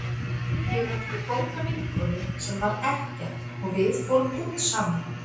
Ég átti góða vinkonu sem var ekkja og við fórum út saman.